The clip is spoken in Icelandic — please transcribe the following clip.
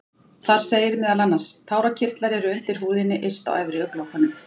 Þar segir meðal annars: Tárakirtlar eru undir húðinni yst á efri augnlokum.